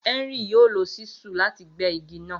Henry yoo lo ṣísù lati gbẹ igi naa.